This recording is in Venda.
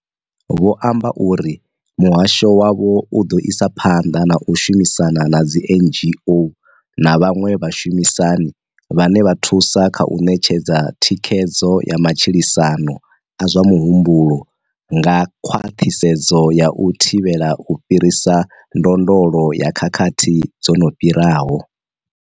Vho amba uri muhasho wavho u ḓo isa phanḓa na u shumisana na dzi NGO na vhaṅwe vhashumisani vhane vha thusa kha u ṋetshedza thikhedzo ya matshilisano a zwa muhumbulo nga khwaṱhisedzo ya u thivhela u fhirisa ndondolo ya khakhathi dzo no fhiraho.